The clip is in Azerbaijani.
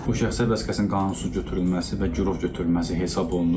Bu şəxsiyyət vəsiqəsinin qanunsuz götürülməsi və girov götürülməsi hesab olunur.